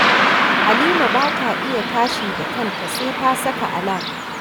Halima ba ta iya tashi da kanta sai ta saka alam